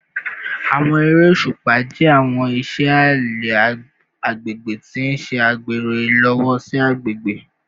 Awọn ere oṣupa jẹ awọn iṣẹ alẹ agbegbe ti n ṣe agbero ilowosi agbegbe